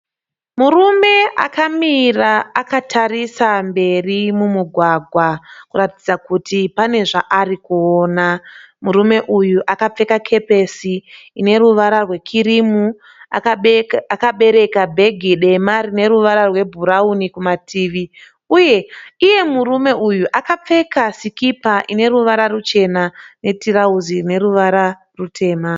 Murume akamira akatarisa mberi mumugwagwa kuratidza kuti pane zvaari kuona. Murume uyu akapfeka kepesi ine ruvara rwekirimu, akabereka bhegi dema rine ruvara rwebhurauni kumativi uye murume uyu akapfeka sikipa rine ruvara ruchena uye tirauzi rine ruvara rwutema.